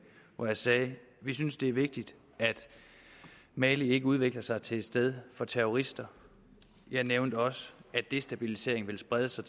hvor jeg sagde at vi synes det er vigtigt at mali ikke udvikler sig til et sted for terrorister jeg nævnte også at destabiliseringen vil sprede sig